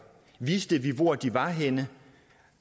vidste vi hvor de var henne